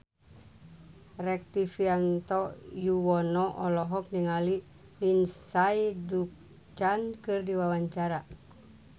Rektivianto Yoewono olohok ningali Lindsay Ducan keur diwawancara